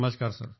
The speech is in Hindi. नमस्कार सर